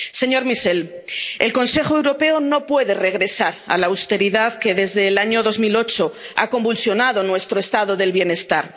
Señor Michel, el Consejo Europeo no puede regresar a la austeridad que desde el año 2008 ha convulsionado nuestro Estado del bienestar.